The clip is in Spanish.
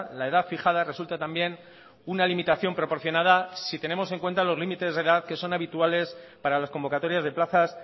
la edad fijada resulta también una limitación proporcionada si tenemos en cuenta los límites de edad que son habituales para las convocatorias de plazas